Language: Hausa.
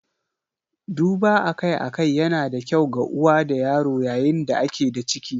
Duba akai-akai yana da kyau ga uwa da yaro yayin da ake da ciki.